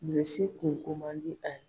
Bilisi kun komandi a ye.